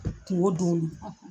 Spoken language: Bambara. Kungo don do .